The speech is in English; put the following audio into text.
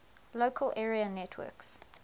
local area networks